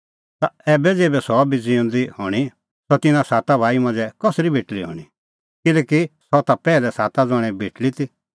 ता ऐबै ज़ेभै सह भी ज़िऊंदी हणीं ता सह तिन्नां साता भाई मांझ़ै कसरी बेटल़ी हणीं किल्हैकि सह ता पैहलै साता ज़ण्हे बेटल़ी ती